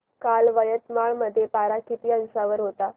काल यवतमाळ मध्ये पारा किती अंशावर होता